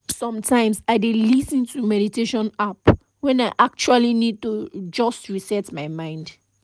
sometimes i dey lis ten to meditation app when i actually need to just reset my mind